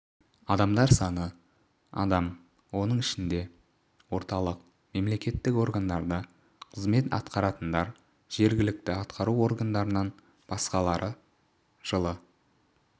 адамдар саны адам оның ішінде орталық мемлекеттік органдарда қызмет атақаратындар жергілікті атқару органдарынан басқалары жылы